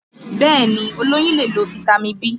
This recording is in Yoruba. Bẹ́ẹ̀ni, olóyún lè lo fitami B